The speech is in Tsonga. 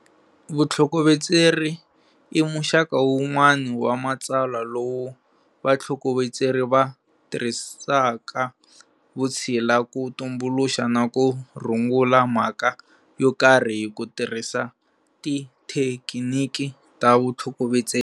Vutlhokovetseri i muxaka wun'wana wa matsalwa lowu vatlhokovetseri va tirhisaka vutshila ku tumbuluxa na ku rungula mhaka yo karhi hi ku tirhisa tithekiniki ta vutlhokovetseri.